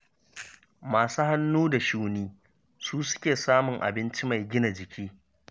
Masu hannu da shuni su suke samun abinci mai gina jiki